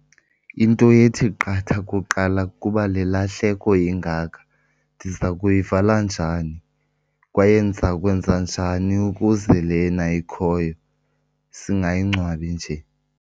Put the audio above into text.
Into ethi qatha kuqala kukuba le lahleko ingaka ndiza kuyivala njani kwaye ndiza kwenza njani ukuze lena ikhoyo singayingcwabi nje.